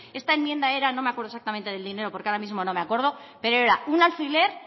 esta enmienda era no me acuerdo exactamente del dinero porque ahora mismo no me acuerdo pero era un alfiler